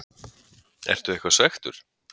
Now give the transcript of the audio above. Ertu eitthvað svekktur?